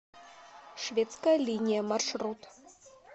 шведская линия маршрут